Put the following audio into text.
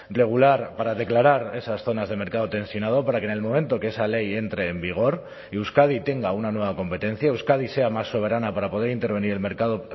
regular para declarar esas zonas de mercado tensionado para que en el momento que esa ley entre en vigor y euskadi tenga una nueva competencia euskadi sea más soberana para poder intervenir en el mercado